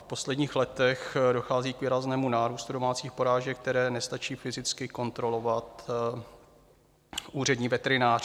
V posledních letech dochází k výraznému nárůstu domácích porážek, které nestačí fyzicky kontrolovat úřední veterinář.